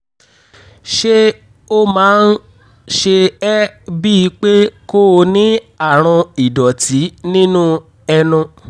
ṣé ó máa ń ṣe ẹ́ bíi pé kó o ní àrùn ìdọ̀tí nínú ẹnu?